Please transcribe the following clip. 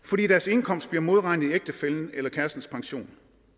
fordi deres indkomst bliver modregnet i ægtefællens eller kærestens pension